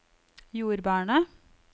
jordbærene